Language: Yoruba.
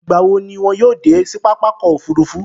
Ìgbá wo ni wọn yóò dé sí pápákọ̀ òfurufú?